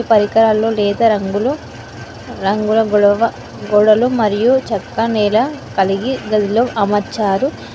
పరికరాలు లేత రంగులు రంగుల గొడవ గోడలు మరియు చక్కనిలా కలిగి గదిలో అమర్చారు.